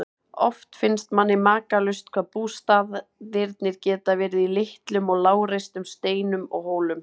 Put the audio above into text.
Oft finnst manni makalaust hvað bústaðirnir geta verið í litlum og lágreistum steinum og hólum.